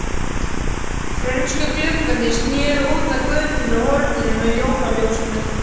Frönsku gluggarnir sneru út að götunni og horninu með jólaljósunum.